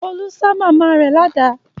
Olú ṣá màmá rẹ̀ ládàá.